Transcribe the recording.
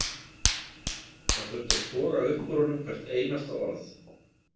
Það þurfti að toga upp úr honum hvert einasta orð.